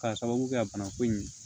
K'a sababu kɛ bana ko in ye